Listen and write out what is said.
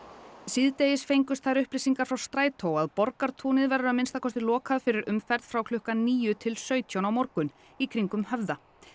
síðdegis fengust þær upplýsingar frá Strætó að Borgartún verður lokað fyrir umferð frá klukkan níu til sautján á morgun í kringum Höfða